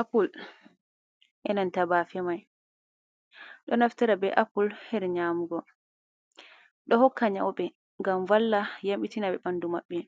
Apvple enanta ɓemai ɗo naftara be apple her nyamugo do hokka nyaube ngam valla yambitina be bandu maɓɓe